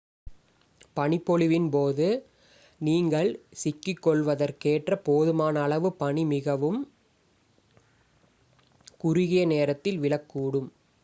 பனிப்பொழிவின் போது நீங்கள் சிக்கிக்கொள்வதற்கேற்ற போதுமான அளவு பனி மிகவும் குறுகிய நேரத்தில் விழக்கூடும்